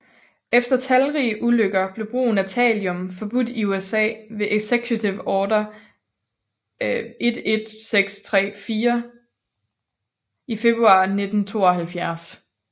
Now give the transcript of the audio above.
Efter talrige ulykker blev brugen af thallium forbudt i USA ved executive order 11643 i februar 1972